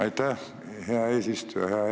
Aitäh, hea eesistuja!